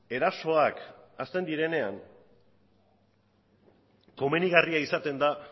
erasoak hasten direnean komenigarria izaten da